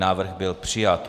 Návrh byl přijat.